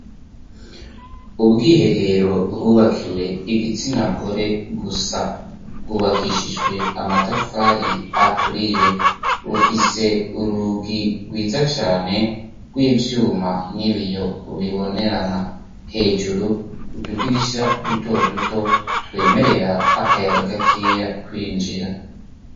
Ubwiherero bwubakiwe igitsina gore gusa bwubakishijwe amatafari aturiye bufise urugi rwiza cane rw'ivyuma n'ibiyo bibonerana. Hejuru utudirisha duto duto twemerera akayaga gakeya kwinjira.